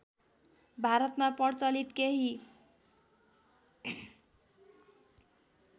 भारतमा प्रचलित केही